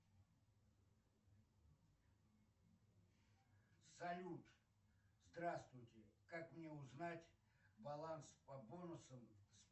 салют здравствуйте как мне узнать баланс по бонусам